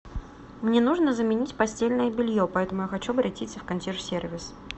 мне нужно заменить постельное белье поэтому я хочу обратиться в консьерж сервис